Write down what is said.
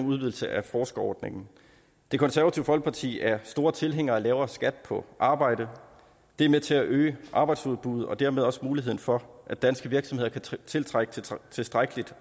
udvidelse af forskerordningen det konservative folkeparti er store tilhængere af lavere skat på arbejde det er med til at øge arbejdsudbuddet og dermed også muligheden for at danske virksomheder kan tiltrække tilstrækkelig